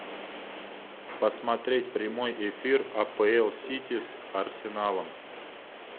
посмотреть прямой эфир апл сити с арсеналом